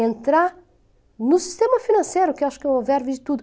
Entrar no sistema financeiro, que eu acho que é o verbo de tudo.